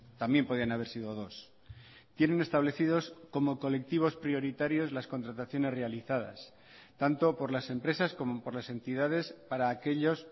también podían haber sido dos tienen establecidos como colectivos prioritarios las contrataciones realizadas tanto por las empresas como por las entidades para aquellos